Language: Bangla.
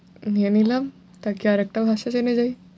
নিয়ে নিলাম তা কি আর একটা ভাষা জেনে যাই।